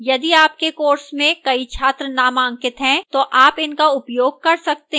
यदि आपके course में कई छात्र नामांकित हैं तो आप इनका उपयोग कर सकते हैं